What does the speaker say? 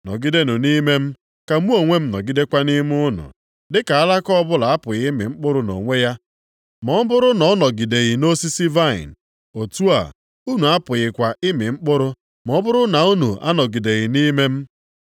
Nọgidenụ nʼime m, ka mụ onwe m nọgidekwa nʼime unu. Dịka alaka ọbụla apụghị ịmị mkpụrụ nʼonwe ya ma ọ bụrụ na ọ nọgideghị nʼosisi vaịnị. Otu a, unu apụghịkwa ịmị mkpụrụ ma ọ bụrụ na unu anọgideghị nʼime m.